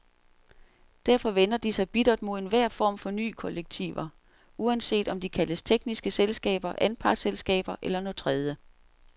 Derfor vender de sig bittert mod enhver form for nye kollektiver, uanset om de kaldes tekniske selskaber, anpartsselskaber eller noget tredje.